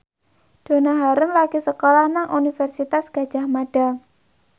Donna Harun lagi sekolah nang Universitas Gadjah Mada